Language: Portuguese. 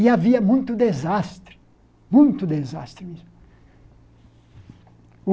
E havia muito desastre, muito desastre mesmo.